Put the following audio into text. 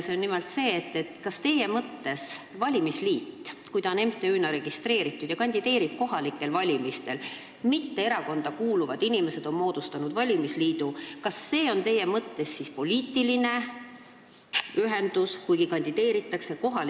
Nimelt, kas valimisliit, kui ta on registreeritud MTÜ-na, kandideerib kohalikel valimistel ja mille on moodustanud erakonda mittekuuluvad inimesed, on teie mõttes poliitiline ühendus või ei ole?